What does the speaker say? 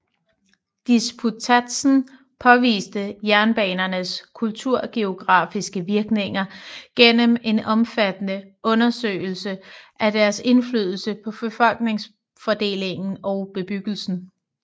Disputatsen påviste jernbanernes kulturgeografiske virkninger gennem en omfattende undersøgelse af deres indflydelse på befolkningsfordelingen og bebyggelsen